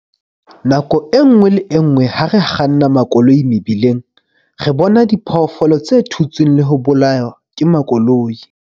Nako e nngwe le e nngwe ha re kganna makoloi mebileng, re bona diphoofolo tse thutsweng le ho bolawa ke makoloi.